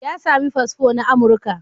Ya sami fasfo na Amurka.